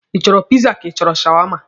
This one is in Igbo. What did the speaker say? Ị chọrọ piza ka ị chọrọ shawama?